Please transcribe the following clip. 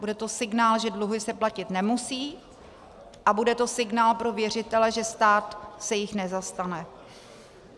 Bude to signál, že dluhy se platit nemusí, a bude to signál pro věřitele, že stát se jich nezastane.